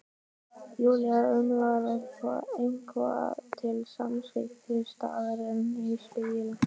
Júlía umlar eitthvað til samþykkis, starir enn í spegilinn.